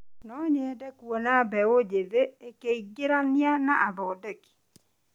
No nyende kuona mbeũ njĩthĩ makĩingĩrania na ũthondeki.